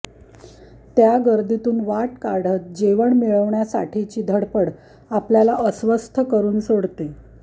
त्या गर्दीतून वाट काढत जेवण मिळवण्यासाठीची धडपड आपल्याला अस्वस्थ करून सोडते